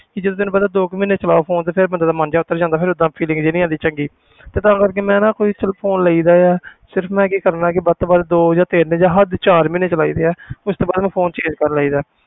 ਕਿ ਜਦੋਂ ਤੈਨੂੰ ਪਤਾ ਦੋ ਕੁ ਮਹੀਨੇ ਚਲਾਓ phone ਤੇ ਫਿਰ ਬੰਦੇ ਦਾ ਮਨ ਜਿਹਾ ਉੱਤਰ ਜਾਂਦਾ ਫਿਰ ਏਦਾਂ feeling ਜਿਹੀ ਨੀ ਆਉਂਦੀ ਚੰਗੀ ਤੇ ਤਾਂ ਕਰਕੇ ਮੈਂ ਨਾ ਕੋਈ ਚੱਲ phone ਲਈਦਾ ਆ ਸਿਰਫ਼ ਮੈਂ ਕੀ ਕਰਨਾ ਕਿ ਵੱਧ ਤੋਂ ਵੱਧ ਦੋ ਜਾਂ ਤਿੰਨ ਜਾਂ ਹੱਦ ਚਾਰ ਮਹੀਨੇ ਚਲਾਈਦੇ ਹੈ ਉਸ ਤੋਂ ਬਾਅਦ phone change ਕਰ ਲਈਦਾ ਹੈ।